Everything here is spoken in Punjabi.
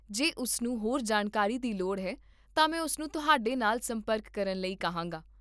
ਜੇ ਉਸ ਨੂੰ ਹੋਰ ਜਾਣਕਾਰੀ ਦੀ ਲੋੜ ਹੈ ਤਾਂ ਮੈਂ ਉਸਨੂੰ ਤੁਹਾਡੇ ਨਾਲ ਸੰਪਰਕ ਕਰਨ ਲਈ ਕਿਹਾਂਗਾ